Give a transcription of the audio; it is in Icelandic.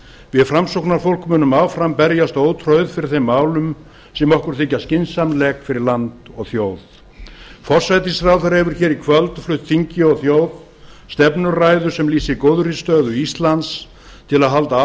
við framsóknarfólk munum áfram berjast ótrauð fyrir þeim málum sem okkur þykja skynsamleg fyrir land og þjóð forsætisráðherra hefur hér í kvöld flutt þingi og þjóð stefnuræðu sem lýsir góðri stöðu íslands til að halda